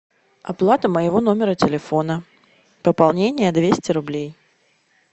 оплата моего номера телефона пополнение двести рублей